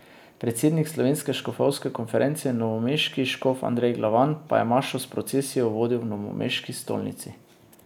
Predsednik Slovenske škofovske konference in novomeški škof Andrej Glavan pa je mašo s procesijo vodil v novomeški stolnici.